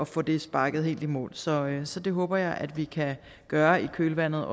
få det sparket helt i mål så så det håber jeg også at vi kan gøre i kølvandet